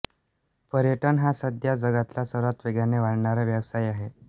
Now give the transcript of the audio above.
पर्यटन हा सध्या जगातला सर्वात वेगाने वाढणारा व्यवसाय आहे